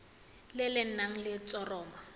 le le nang le letshoroma